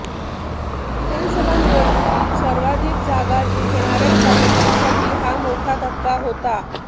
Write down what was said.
विधानसभा निवडणुकीत सर्वाधिक जागा जिंकणाऱ्या भाजपसाठी हा मोठा धक्का होता